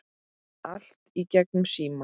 Allt í gegnum síma.